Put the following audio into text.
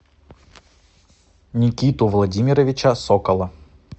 никиту владимировича сокола